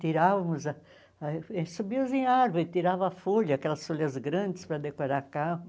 Tirávamos, ah ah e subíamos em árvores, tirava a folha, aquelas folhas grandes para decorar carro.